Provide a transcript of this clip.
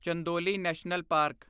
Chandoli national park